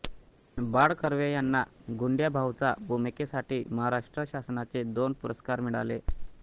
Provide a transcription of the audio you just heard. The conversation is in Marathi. बाळ कर्वे यांना गुंड्याभाऊच्या भूमिकेसाठी महाराष्ट्र शासनाचे दोन पुरस्कार मिळाले